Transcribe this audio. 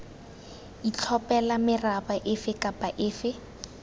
itlhophela meraba efe kapa efe